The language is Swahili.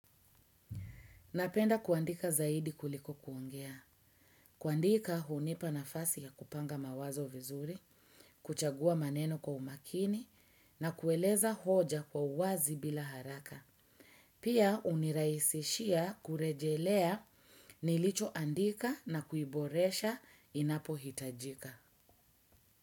Napenda kuandika zaidi kuliko kuongea. Kuandika hunipa nafasi ya kupanga mawazo vizuri, kuchagua maneno kwa umakini na kueleza hoja kwa uwazi bila haraka. Pia hunirahisishia kurejelea nilichoandika na kuiboresha inapohitajika.